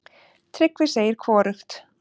Tryggvi segir hvorugt.